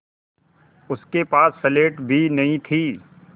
उसके पास स्लेट भी नहीं थी